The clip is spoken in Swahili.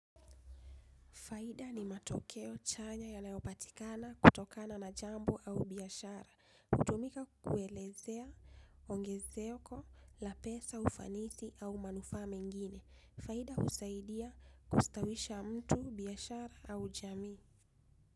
Faida ni matokeo chanya yanayopatikana kutokana na jambo au biashara. Utumika kukuelezea ongezeko la pesa ufanisi au manufaa mengine. Faida usaidia kustawisha mtu, biashara au jamii.